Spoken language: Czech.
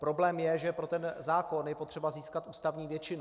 Problém je, že pro ten zákon je potřeba získat ústavní většinu.